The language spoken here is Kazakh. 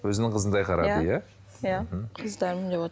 өзінің қызындай қарады иә иә қыздарым деп